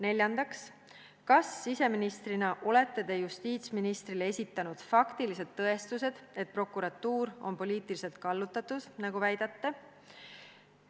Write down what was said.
Neljandaks: kas siseministrina olete te justiitsministrile esitanud faktilised tõestused, et prokuratuur on poliitiliselt kallutatud, nagu te väidate?